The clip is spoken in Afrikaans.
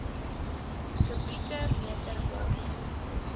kubieke meter water